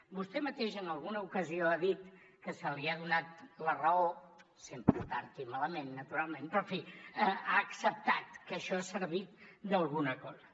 vostè mateix en alguna ocasió ha dit que se li ha donat la raó sempre tard i malament naturalment però en fi ha acceptat que això ha servit d’alguna cosa